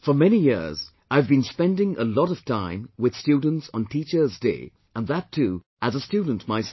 For many years, I have been spending a lot of time with students on Teachers Day and that too as a student myself